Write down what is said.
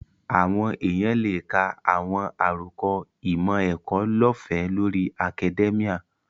Àwọn èèyàn lè ka àwọn àròkọ ìmọ̀-ẹ̀kọ́ lọ́ọ̀fẹ́ lórí akadẹ́míà